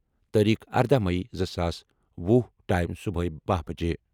تٲریخ ارداہ مئی زٕ ساس وُہ ٹایِم صبحٲے باہ بجے